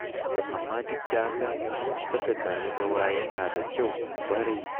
Amma duk da haka, saka ƙararrawa yana da kyau ƙwarai.